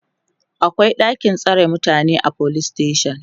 akwai ɗakin tsare mutane a police station